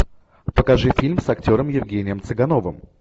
покажи фильм с актером евгением цыгановым